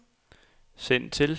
send til